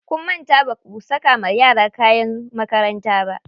Kun manta baku saka wa yara kayan makaranta ba.